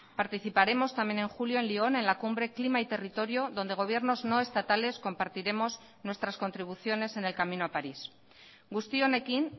participaremos también en julio en lión en la cumbre clima y territorio donde gobiernos no estatales compartiremos nuestras contribuciones en el camino a parís guzti honekin